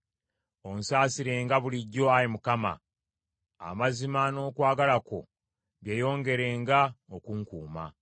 Onsasirenga bulijjo, Ayi Mukama , amazima n’okwagala kwo byeyongerenga okunkuuma.